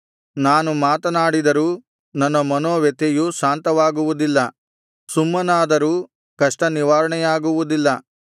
ನಾನು ಮಾತನಾಡಿದರೂ ನನ್ನ ಮನೋವ್ಯಥೆಯು ಶಾಂತವಾಗುವುದಿಲ್ಲ ಸುಮ್ಮನಾದರೂ ಕಷ್ಟ ನಿವಾರಣೆಯಾಗುವುದಿಲ್ಲ